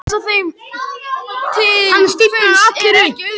Að lýsa þeim til fulls er ekki auðvelt.